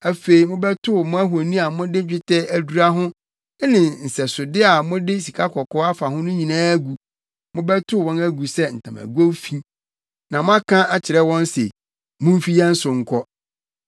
Afei mobɛtow mo ahoni a mode dwetɛ adura ho ne nsɛsode a mode sikakɔkɔɔ afa ho no nyinaa agu. Mobɛtow wɔn agu sɛ ntamagow fi, na moaka kyerɛ wɔn se, “Mumfi yɛn so nkɔ.”